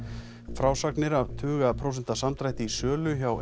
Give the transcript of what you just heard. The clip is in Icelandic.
frásagnir af tuga prósenta samdrætti í sölu hjá